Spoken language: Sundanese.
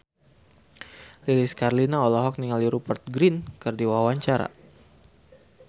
Lilis Karlina olohok ningali Rupert Grin keur diwawancara